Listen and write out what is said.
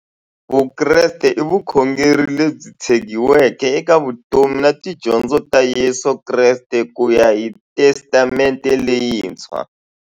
Vukreste i vukhongeri lebyi tshegiweke eka vutomi na tidyondzo ta Yesu Kreste kuya hi Testamente leyintshwa.